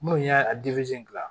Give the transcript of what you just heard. Munnu y'a gilan